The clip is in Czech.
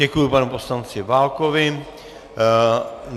Děkuji panu poslanci Válkovi.